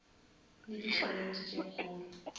le di challenge tše kgolo